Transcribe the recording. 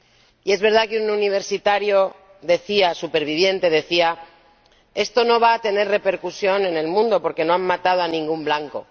Y es verdad que un universitario superviviente decía Esto no va a tener repercusión en el mundo porque no han matado a ningún blanco.